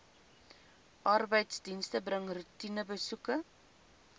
arbeidsdienste bring roetinebesoeke